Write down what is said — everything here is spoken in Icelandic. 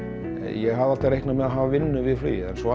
ég hafði alltaf reiknað með því að hafa vinnu við flugið en svo